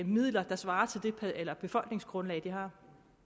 midler der svarer til det befolkningsgrundlag de har